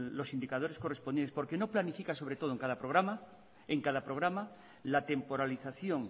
los indicadores correspondientes porque no planifica sobre todo en cada programa la temporalización